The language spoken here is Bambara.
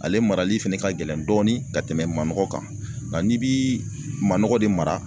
Ale marali fɛnɛ ka gɛlɛn dɔɔnin ka tɛmɛ manɔgɔ kan nka n'i bii manɔgɔ de mara